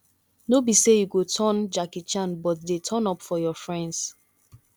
no be sey you go turn jackie chan but dey turn up for your friends